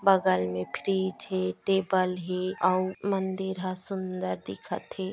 बगल में फ्रिज हे टेबल हे अउ मंदिर ह सुंदर दिखत हे ।